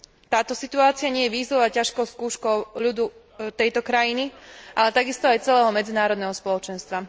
Táto situácia nie je výzvou a ťažkou skúškou ľudu tejto krajiny, ale takisto aj celého medzinárodného spoločenstva.